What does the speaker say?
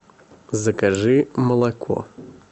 закажи молоко